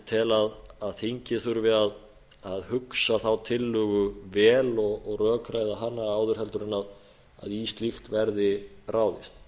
tel að þingið þurfi að hugsa þá tillögu vel og rökræða hana áður en í slíkt verði ráðist